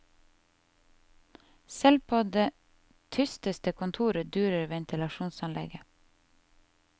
Selv på det tysteste kontor durer ventilasjonsanlegget.